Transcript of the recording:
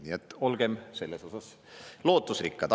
Nii et olgem selles osas lootusrikkad.